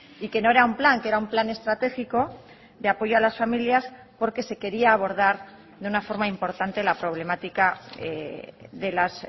y que no era un plan que era un plan estratégico de apoyo a las familias porque se quería abordar de una forma importante la problemática de las